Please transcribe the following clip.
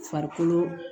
Farikolo